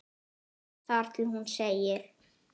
ið þar til hún segir